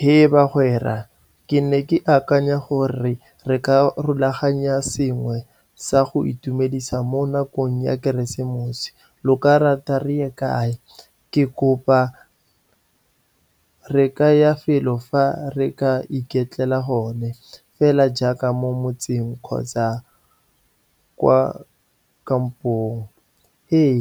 He bagwera! Ke ne ke akanya gore re ka rulaganya sengwe sa go itumedisa mo nakong ya Keresemose. Lo ka rata re ye kae? Re ka ya felo fa re ka iketlela gone fela jaaka mo motseng kgotsa kwa kampong. Ee,